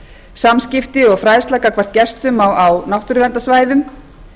samskipti og fræðslu gagnvart gestum á náttúruverndarsvæðum